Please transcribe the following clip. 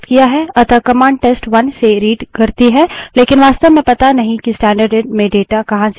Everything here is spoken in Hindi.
लेकिन वास्तव में पता नहीं है कि स्टैन्डर्डइन stdin में data कहाँ से as रहा है